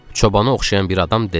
Çobana oxşayan bir adam dedi.